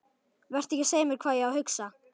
Vertu ekki að segja mér hvað ég á að hugsa!